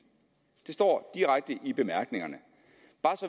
det står direkte i bemærkningerne